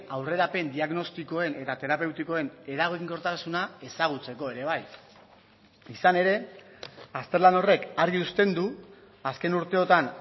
aurrerapen diagnostikoen eta terapeutikoen eraginkortasuna ezagutzeko ere bai izan ere azterlan horrek argi uzten du azken urteotan